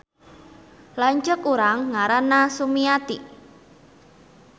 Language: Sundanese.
Lanceuk urang ngaranna Sumiati